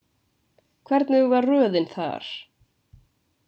Hvernig var röðin þar?